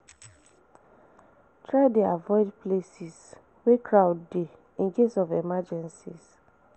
Try de avoid places where crowd de in case of emergencies